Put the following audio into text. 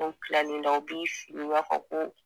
Ko kilal'i la u b'i fili i b'a fɔ ko.